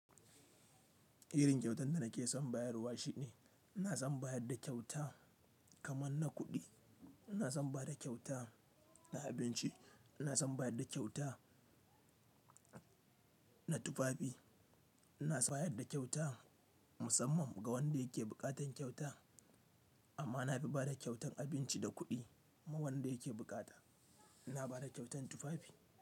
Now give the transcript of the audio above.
Irin kyautan da nake son bayarwa shi ne ina son bayar da kyauta kaman na kuɗi, ina son bada kyauta na abinci, ina son bayar da kyauta na tufafi, ina son bayar da kyauta musamman ga wanda yake buƙatar kyauta amma na fi bada kyautan abinci da kuɗi ma wanda yake buƙata ina bada kyautan tufafi.